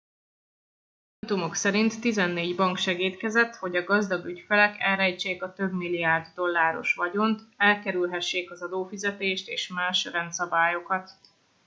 a dokumentumok szerint tizennégy bank segédkezett hogy a gazdag ügyfelek elrejtsék a több milliárd dolláros vagyont elkerülhessék az adófizetést és más rendszabályokat